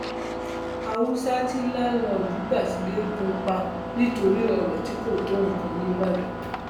haúsá tí láńlọọdù gbà sílẹ gún un pa nítorí ọrọ tí kò tó nǹkan ńíbàdàn